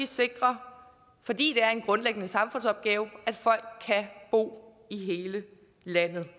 sikre fordi det er en grundlæggende samfundsopgave at folk kan bo i hele landet det